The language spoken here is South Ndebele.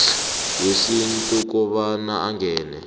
wesintu kobana angene